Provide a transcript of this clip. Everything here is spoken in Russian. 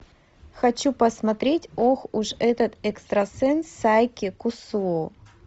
хочу посмотреть ох уж этот экстрасенс сайки кусуо